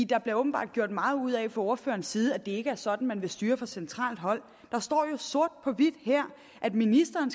der blev jo gjort meget ud af fra ordførerens side at det ikke er sådan at man vil styre fra centralt hold der står jo sort på hvidt her at ministeren